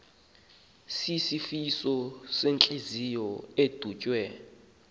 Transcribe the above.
sisifo sentliziyo edutywe